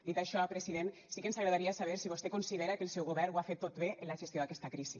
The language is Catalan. dit això president sí que ens agradaria saber si vostè considera que el seu govern ho ha fet tot bé en la gestió d’aquesta crisi